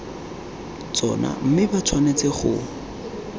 tsona mme ba tshwanetse go